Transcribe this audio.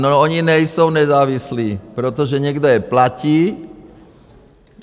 No, oni nejsou nezávislí, protože někdo je platí.